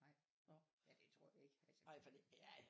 Nej ja det tror jeg ikke altså fordi